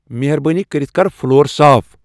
مہربٲنی کٔرِتھ کر فُلور صاف ۔